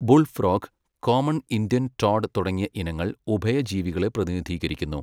Bull frog, common Indian toad തുടങ്ങിയ ഇനങ്ങൾ ഉഭയജീവികളെ പ്രതിനിധീകരിക്കുന്നു.